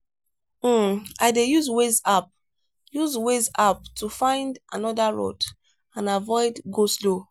um i dey use waze app use waze app to find another road and avoid go-slow.